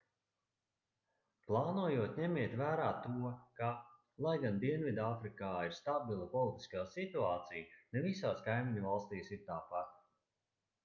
plānojot ņemiet vērā to ka lai gan dienvidāfrikā ir stabila politiskā situācija ne visās kaimiņvalstīs ir tāpat